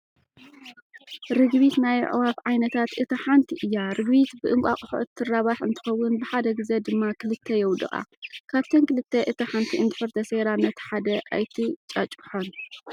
ርግቢት ናይ ኣዕዋፍ ዓይነታት እታ ሓንቲ እያ። ርግቢት ብእንቋቁሖ እትራባሕ እንትኸውን ብሓደ ግዘ ድማ ክልተ የውድቃ። ካብተን ክልተ እታ ሓንቲ እንድሕር ተሰይራ ነቲ ሓደ ኣይትጫጭሖን።